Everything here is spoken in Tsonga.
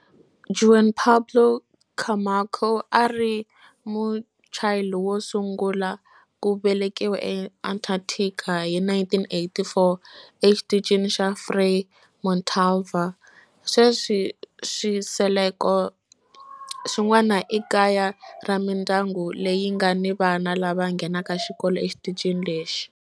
Juan Pablo Camacho a a ri Muchile wo sungula ku velekiwa eAntarctica hi 1984 eXitichini xa Frei Montalva. Sweswi swisekelo swin'wana i kaya ra mindyangu leyi nga ni vana lava nghenaka xikolo exitichini lexi.